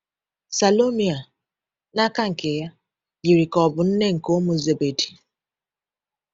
Salome a, n’aka nke ya, yiri ka ọ bụ nne nke ụmụ Zebedi.